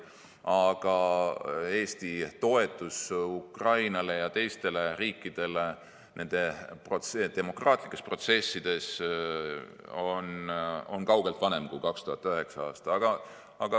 Aga Eesti toetus Ukrainale ja teistele riikidele nendes demokraatlikes protsessides algas kaugelt varem kui 2009. aastal.